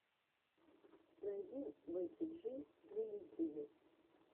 найди бекки джи на ютюбе